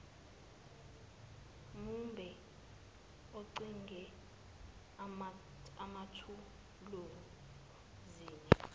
mumbe oncike emathuluzini